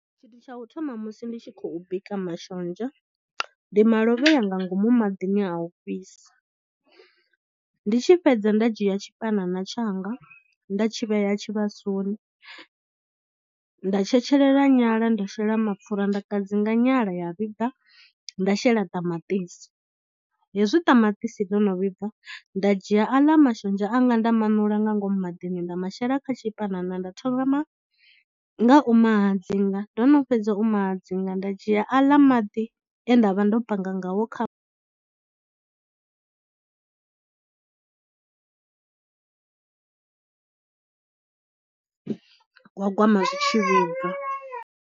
Tshithu tsha u thoma musi ndi tshi khou bika mashonzha ndi malovhea nga ngomu maḓini a u fhisa, ndi tshi fhedza nda dzhia tshipanana tshanga nda tshi vhea tshivhasoni. Nda tshetshelela nyala nda shela mapfura nda kadzinga nyala ya vhibva nda shela ṱamaṱisi hezwi ṱamaṱisi ḽo no vhibva nda dzhia aḽa mashonzha anga nda maṋula nga ngomu maḓini nda mashela kha tshipanana nda thoma nga u mahadzinga ndo no fhedza u mahadzinga nda dzhia aḽa maḓi e nda vha ndo panga ngawo kha gwagwama zwi tshi vhibva.